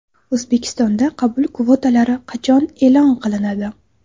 O‘zbekistonda qabul kvotalari qachon e’lon qilinadi?.